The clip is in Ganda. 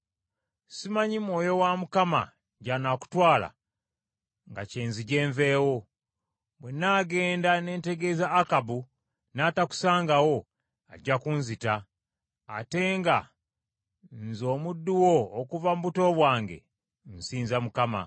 Simanyi Mwoyo wa Mukama gy’anaakutwala nga kyenzije nveewo. Bwe nnaagenda ne ntegeeza Akabu n’atakusangawo, ajja kunzita, ate nga nze omuddu wo okuva mu buto bwange, nsinza Mukama .